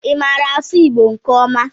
Ị maara asụ Igbo nke ọma?